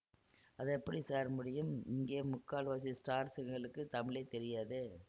அதெப்பிடி sir முடியும் இங்கே முக்கால்வாசி ஸ்டார்ஸுங்களுக்குத் தமிழே தெரியாதே